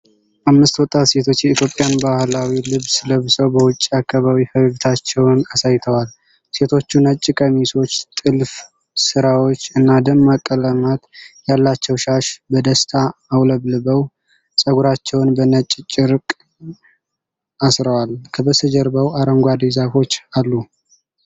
አምስት ወጣት ሴቶች የኢትዮጵያን ባህላዊ ልብስ ለብሰው በውጪ አካባቢ ፈገግታቸውን አሳይተዋል። ሴቶቹ ነጭ ቀሚሶች፣ ጥልፍ ስራዎች እና ደማቅ ቀለማት ያላቸው ሻሽ በደስታ አውለብልበው ፀጉራቸውን በነጭ ጨርቅ አስረዋል፤ ከበስተጀርባው አረንጓዴ ዛፎች አሉ።